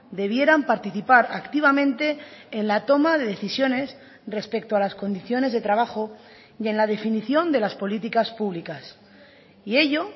debieran participar activamente en la toma de decisiones respecto a las condiciones de trabajo y en la definición de las políticas públicas y ello